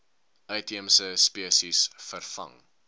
uitheemse spesies vervang